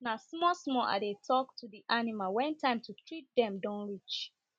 na small small i dey tok to the animals wen time to treat dem don reach